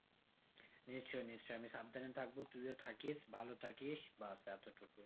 নিশ্চই নিশ্চই আমি সাবধানে থাকবো তুইও থাকিস ভালো থাকিস বাস এতটুকুই